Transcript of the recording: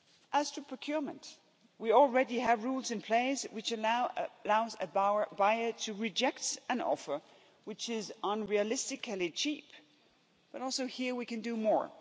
As to procurement, we already have rules in place which allow a buyer to reject an offer which is unrealistically cheap, but also here we can do more.